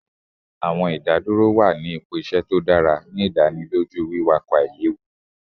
Awọn idaduro wa ni ipo iṣẹ to dara, ni idaniloju wiwakọ ailewu